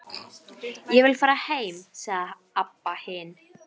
Þakið vantaði enn og þær horfðu upp í himininn.